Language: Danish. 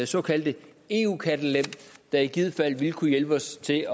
såkaldte eu kattelem der i givet fald ville kunne hjælpe os til at